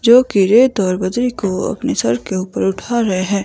जो कि यह दरवाजे को अपने सर के ऊपर उठा रहे हैं।